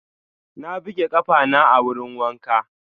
Na buge ƙafana a wurin wanka.